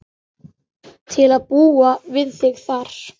Til að búa við þig þar.